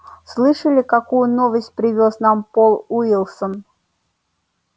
слышали какую новость привёз нам пол уилсон